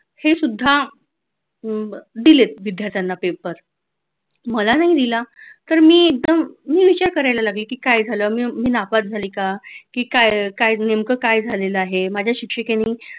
हे सुद्धा दिलेत विद्यार्थ्यांना paper मला नाही दिला तर मी एकदम मी विचार करायला लागले की काय झालं मी नापास झाले का की काय नेमकं काय झालेल आहे माझ्या शिक्षिकेने